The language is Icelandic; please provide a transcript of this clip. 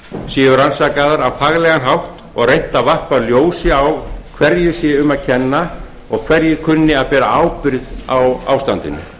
séu rannsakaðar á faglegan hátt og reynt að varpa ljósi á hverju sé um að kenna og hverjir kunni að bera ábyrgð á ástandinu